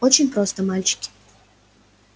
очень просто мальчики